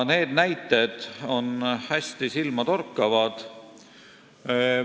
Need näited on hästi silmatorkavad.